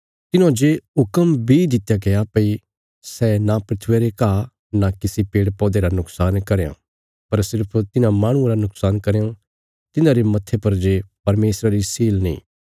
तिन्हौं ये हुक्म बी दित्या गया भई सै नां धरतिया रे घा नां किसी पेड़पौधे रा नुक्शान करयां पर सिर्फ तिन्हां माहणुआं रा नुक्शान करयां तिन्हांरे मत्थे पर जे परमेशरा री सील नीं